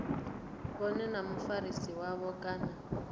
vhone na mufarisi wavho kana